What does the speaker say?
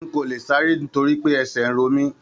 N ko le sáré nitoripe ẹsẹ n ro mí.